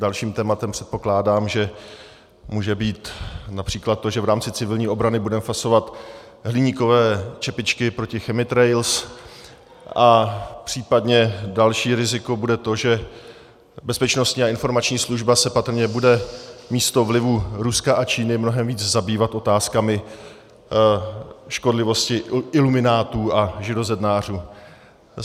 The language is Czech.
Dalším tématem, předpokládám, že může být například to, že v rámci civilní obrany budeme fasovat hliníkové čepičky proti chemtrails, a případně další riziko bude to, že Bezpečnostní a informační služba se patrně bude místo vlivu Ruska a Číny mnohem víc zabývat otázkami škodlivosti iluminátů a židozednářů.